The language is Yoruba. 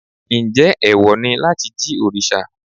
Njẹ́ ẹ̀wọ̀ ni láti jí òrìṣà?